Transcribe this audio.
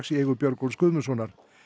í eigu Björgólfs Guðmundssonar